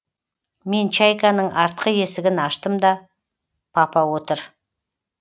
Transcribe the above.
мен чайканың артқы есігін аштым да папа отыр